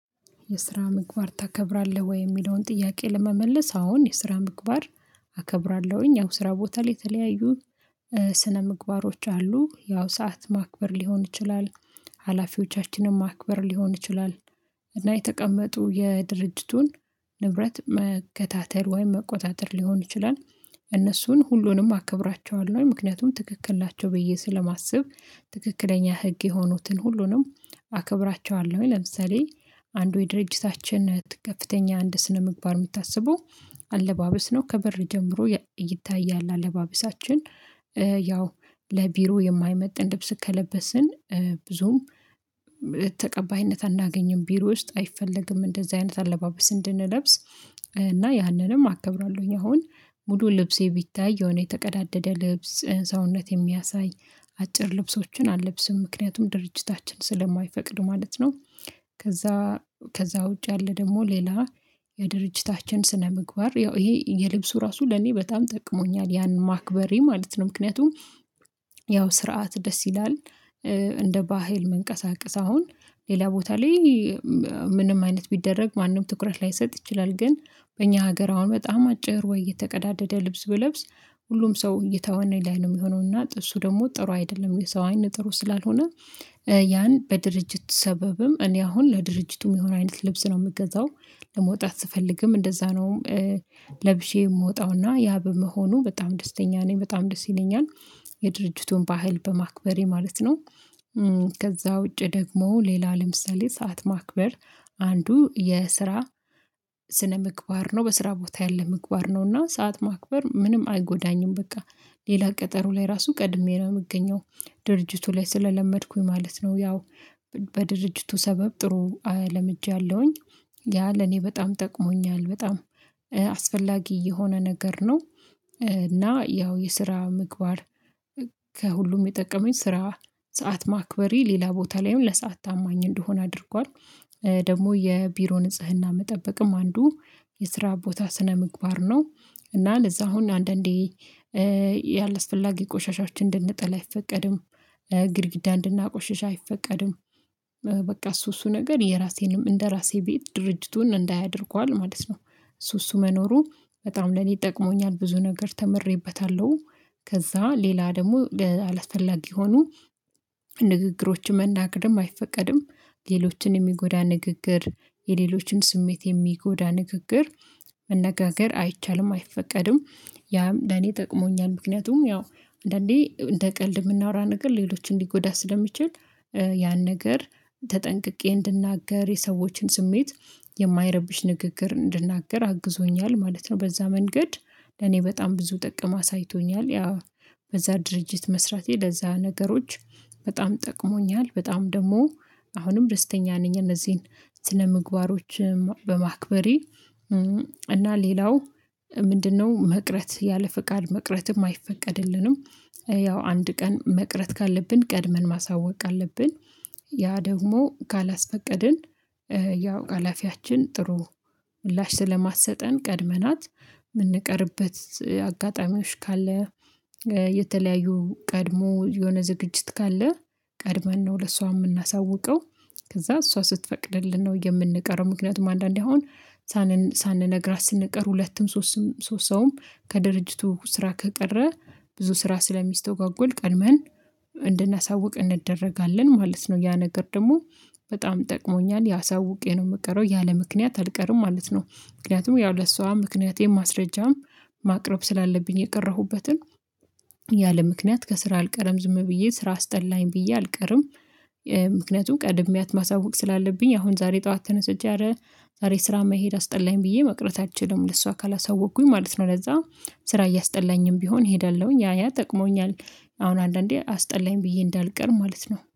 የስራ ምግባር ታከብራለህ ወይ የሚለውን ጥያቄ ለመመለስ አዎን የስራ ምግባር አከብራለሁኝ ያው ስራ ቦታ ላይ የተለያዩ ስነምግባሮች አሉ ያው ሰዓት ማክበር ሊሆን ይችላል ሀላፊዎቻችን ማክበር ሊሆን ይችላል እና የተቀመጡ የድርጅቱን ንብረት መከታተል ወይም መቆጣጠር ሊሆን ይችላል እነሱን ሁሉንም አከብራቸዋለሁ ምክንያቱም ትክክል ናቸው ብዬ ስለማስብ ትክክለኛ ህግ የሆኑትን ሁሉንም አከብራቸዋለሁኝ ለምሳሌ አንዱ የድርጅታችን ከፍተኛ አንድ ስነምግባር የምታስበው አለባበስ ነው ከበር ጀምሮ ይታያል አለባበሳችን ያው ለቢሮ የማይመጥን ልብስ ከለበስን ብዙም አናገኝም ቢሮ ውስጥ አይፈለግም እንደዚህ አይነት አለባበስ እንድንለብስ እና ያንንም አከብራለሁኝ አሁን ሙሉ ልብሴ ቢታይ የሆነ የተቀዳደደ ልብስ ሰውነት የሚያሳይ አጭር ልብሶችን አልለብስም ምክንያቱም ድርጅታችን ስለማይፈቅድ ማለት ነው ከዛ ከዛ ውጪ ያለ ደግሞ ሌላ የድርጅታችን ስነምግባር ይሄ የልብሱ ራሱ ለኔ በጣም ጠቅሞኛል ያን ማክበሬ ማለት ነው ምክንያቱም ያው ስርዓት ደስ ይላል እንደ ባህል መንቀሳቀስ አሁን ሌላ ቦታ ላይ ምንም አይነት ቢደረግ ማንም ትኩረት ላይሰጥ ይችላል ግን በእኛ ሀገር አሁን በጣም አጭር ወይ የተቀዳደደ ልብስ ብለብስ ሁሉም ሰው እይታው ዋና የለም የሚሆነውና ጥሩ ደግሞ ጥሩ አይደለም የሰው አይን ጥሩ ስላልሆነ ያን በድርጅት ሰበብም እኔ አሁን ለድርጅቱ የሚሆን አይነት ልብስ ነው የምገዛው ለመውጣት ስፈልግም እንደዛ ነው ለብሼ የምወጣውና ያ በመሆኑ በጣም ደስተኛ ነኝ በጣም ደስ ይለኛል የድርጅቱን ባህል በማክበሬ ማለት ነው ከዛ ውጪ ደግሞ ሌላ ለምሳሌ ሰዓት ማክበር አንዱ የስራ ስነምግባር ነው በስራ ቦታ ያለ ምግባር ነውና ሰዓት ማክበር ምንም አይጎዳኝም በቃ ሌላ ቀጠሮ ላይ ራሱ ቀድሜ ነው የምገኘው ድርጅቱ ላይ ስለለመድኩኝ ማለት ነው ያው በድርጅቱ ሰበብ ጥሩ ለምጃለሁኝ ያ ለኔ በጣም ጠቅሞኛል በጣም አስፈላጊ የሆነ ነገር ነው እና ያው የስራ ምግባር ከሁሉም የጠቀመኝ ስራ ሰዓት ማክበሬ ሌላ ቦታ ላይም ለሰአት ታማኝ እንደሆነ አድርጓል ደግሞ የቢሮ ንጽህና መጠበቅም አንዱ የስራ ቦታ ስነምግባር ነው እና ለዛ አሁን አንዳንዴ ያለ አስፈላጊ ቆሻሻዎችን እንድንጥል አይፈቀድም ግድግዳ እንድናቆሽሽ አይፈቀድም በቃ እሱ እሱ ነገር የራሴንም እንደራሴ ቤት ድርጅቱን እንዳያ አደርጓል ማለት ነው እሱ እሱ መኖሩ በጣም ለኔ ጠቅሞኛል ብዙ ነገር ተምሬበታለሁ ከዛ ሌላ ደግሞ አላስፈላጊ የሆኑ ንግግሮች መናገርም አይፈቀድም ሌሎችን የሚጎዳ ንግግር የሌሎችን ስሜት የሚጎዳ ንግግር መነጋገር አይቻልም አይፈቀድም ያም ለኔ ጠቅሞኛል ምክንያቱም ያው አንዳንዴ እንደ ቀልድ የምናወራው ነገር ሌሎችን ሊጎዳ ስለሚችል ያን ነገር ተጠንቅቄ እንድናገር የሰዎችን ስሜት የማይረብሽ ንግግር እንድናገር አግዞኛል ማለት ነው በዛ መንገድ ለኔ በጣም ብዙ ጥቅም አሳይቶኛል ያው በዛ ድርጅት መስራቴ ለዛ ነገሮች በጣም ጠቅሞኛል በጣም ደግሞ አሁንም ደስተኛ ነኝ እነዚህን ስነ ምግባሮች በማክበሬ እና ሌላው ምንድነው መቅረት ያለ ፍቃድ መቅረትም አይፈቀድልንም ያው አንድ ቀን መቅረት ካለብን ቀድመን ማሳወቅ አለብን ያ ደግሞ ካላስፈቀድን ያው ሀላፊያችን ጥሩ ምላሽ ስለማትሰጠን ቀድመናት የምንቀርበት አጋጣሚዎች ካለ የተለያዩ ቀድሞ የሆነ ዝግጅት ካለ ቀድመን ነው ለሷ የምናሳውቀው ከዛ እሷ ስትፈቅድልን ነው የምንቀረው ምክንያቱም አንዳንዴ አሁን ሳንነግራት ስንቀር ሁለትም ሶስትም ሶስት ሰውም ከድርጅቱ ስራ ከቀረ ብዙ ስራ ስለሚስተጓጎል ቀድመን እንድናሳውቅ እንደረጋለን ማለት ነው ያ ነገር ደግሞ በጣም ጠቅሞኛል ያ አሳውቄ ነው የምቀረው ያለምክንያት አልቀርም ማለት ነው ምክንያቱም ያው ለሷ ምክንያቴን ማስረጃም ማቅረብ ስላለብኝ የቀረሁበትን ያለምክንያት ከስራ አልቀረም ዝም ብዬ ስራ አስጠላኝ ብዬ አልቀረም ምክንያቱም ቀድሚያት ማሳወቅ ስላለብኝ አሁን ዛሬ ጠዋት ተነስቼ አረ ዛሬ ስራ መሄድ አስጠላኝ ብዬ መቅረት አልችልም ለሷ ካላሳወቅኩኝ ማለት ነው ለዛ ስራ እያስጠላኝም ቢሆን እሄዳለሁኝ ያ ያ ጠቅሞኛል አሁን አንዳንዴ አስጠላኝ ብዬ እንዳልቀር ማለት ነው።